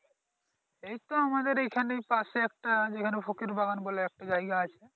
এইতো আমাদের এইখানে পাশেই একটা যেখানে ফকির বাবান বলে একটা জায়গা আছে ।